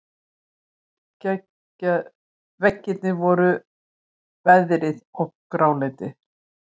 Veggirnir voru veðraðir og gráleitir.